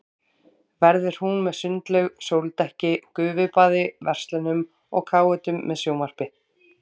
Verður hún með sundlaug, sóldekki, gufubaði, verslunum og káetum með sjónvarpi.